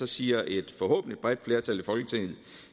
siger et forhåbentlig bredt flertal i folketinget